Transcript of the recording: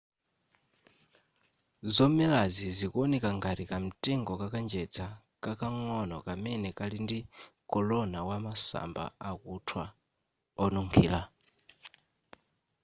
zomelazi zikuoneka ngati kamtengo ka kanjedza kakang'ono kamene kali ndi korona wa masamba akuthwa onunkhira